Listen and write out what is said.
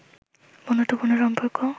বন্ধুত্বপূর্ণ সম্পর্ক